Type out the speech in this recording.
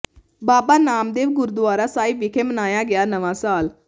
ਬਾਬਾ ਨਾਮਦੇਵ ਗੁਰੂਦੁਆਰਾ ਸਾਹਿਬ ਵਿਖੇ ਮਨਾਇਆ ਗਿਆ ਨਵਾਂ ਸਾਲ